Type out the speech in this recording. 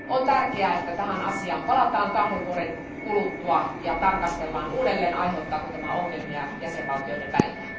On tärkeää, että tähän asiaan palataan kahden vuoden kuluttua ja tarkastellaan uudelleen, aiheuttaako tämä ongelmia jäsenvaltioiden välillä.